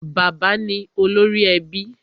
Bàbá ni olórí ẹbí.